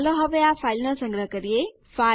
ચાલો હવે આ ફાઇલ નો સંગ્રહ કરીએ